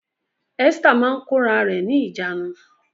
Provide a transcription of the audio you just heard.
Esther máa ń kóra rẹ̀ ní ìjánu